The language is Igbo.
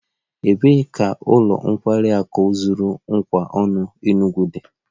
Ebee ka ụlọ nkwari akụ zuru ụwa ọnụ Enugwu dị?